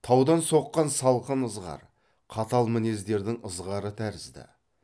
таудан соққан салқын ызғар қатал мінездердің ызғары тәрізді